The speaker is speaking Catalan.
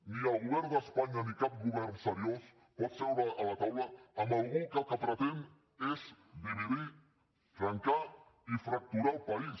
ni el govern d’espanya ni cap govern seriós pot seure a la taula amb algú que el que pretén és dividir trencar i fracturar el país